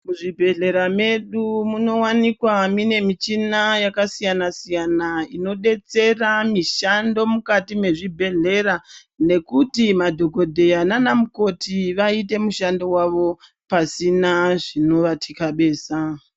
Muzvibhedlera medu munowanikwa mune michina yakasiyana siyana inodetsera mishando mukati mwezvibhedhlera nekuti madhokodheya nanamukoti vaite mishando wavo pasina zvino vatikabeza.